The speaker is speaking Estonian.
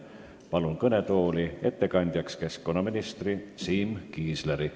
Palun kõnetooli ettekandjaks keskkonnaminister Siim Kiisleri.